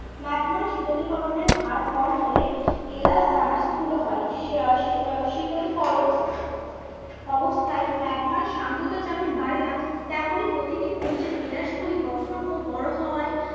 Magma শীতলী করণের হার কম হলে কেলাস দানা স্থুল হয়। শীতলী করণ অবস্থায় ম্যাগমার সান্দ্রতা যেমন বাড়ে না তেমনই প্রতিটি খনিজের কেলাস গুলির গঠন ও বড়ো হওয়ায়